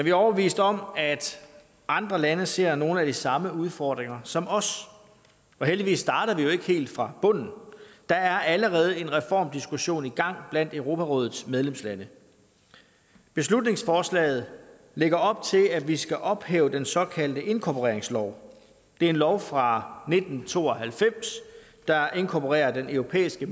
er overbeviste om at andre lande ser nogle af de samme udfordringer som os og heldigvis starter vi jo ikke helt fra bunden der er allerede en reformdiskussion i gang blandt europarådets medlemslande beslutningsforslaget lægger op til at vi skal ophæve den såkaldte inkorporeringslov det er en lov fra nitten to og halvfems der inkorporerer den europæiske